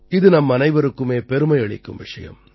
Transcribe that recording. இது நம்மனைவருக்குமே பெருமையளிக்கும் விஷயம்